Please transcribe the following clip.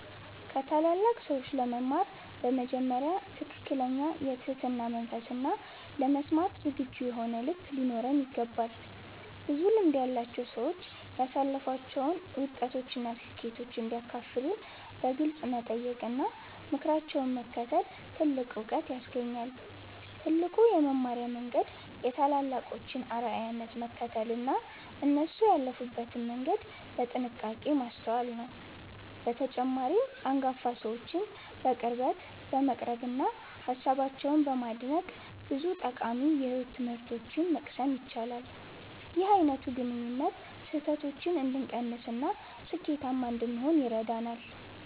ከታላላቅ ሰዎች ለመማር በመጀመሪያ ትክክለኛ የትህትና መንፈስና ለመስማት ዝግጁ የሆነ ልብ ሊኖረን ይገባል። ብዙ ልምድ ያላቸው ሰዎች ያሳለፏቸውን ውድቀቶችና ስኬቶች እንዲያካፍሉን በግልጽ መጠየቅና ምክራቸውን መከተል ትልቅ ዕውቀት ያስገኛል። ትልቁ የመማሪያ መንገድ የታላላቆችን አርአያነት መከተልና እነሱ ያለፉበትን መንገድ በጥንቃቄ ማስተዋል ነው። በተጨማሪም፣ አንጋፋ ሰዎችን በቅርበት በመቅረብና ሃሳባቸውን በማድነቅ ብዙ ጠቃሚ የሕይወት ትምህርቶችን መቅሰም ይቻላል። ይህ አይነቱ ግንኙነት ስህተቶችን እንድንቀንስና ስኬታማ እንድንሆን ይረዳናል።